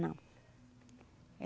Não.